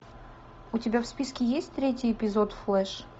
у тебя в списке есть третий эпизод флэш